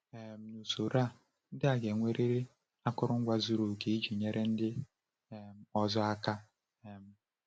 um N’usoro, ndị a ga-enwerịrị akụrụngwa zuru oke iji nyere ndị um ọzọ aka. um